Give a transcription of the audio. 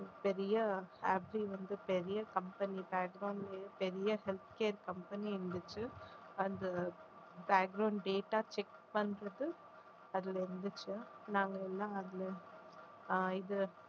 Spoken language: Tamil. பெரிய happy வந்து பெரிய company பெரிய health care company இருந்துச்சு அந்த data check பண்றது அதுல இருந்துச்சு நாங்க எல்லாம் அதுல ஆஹ் இது